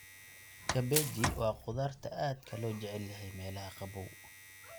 Kabeji waa khudaarta aadka loo jecel yahay meelaha qabow.